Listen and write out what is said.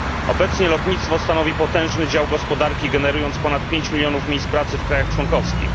Obecnie lotnictwo stanowi potężny dział gospodarki, generując ponad pięć milionów miejsc pracy w krajach członkowskich.